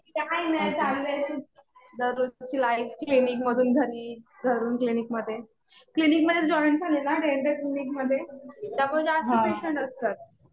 काही नाही. चाललंय असंच. दररोजची लाईफ. क्लिनिकमधून घरी, घरून क्लिनिकमध्ये. क्लिनिकमध्ये जॉईन झाले ना डेंटल क्लिनिकमध्ये, त्यामुळे जास्त पेशंट असतात.